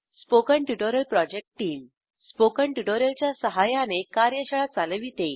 spoken tutorial project team spoken tutorial च्या सहाय्याने कार्यशाळा चालविते